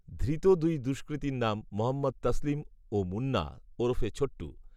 ধৃত দুই দষ্কৃতীর নাম মহম্মদ তসলিম ও মুন্না ওরফে ছোট্টু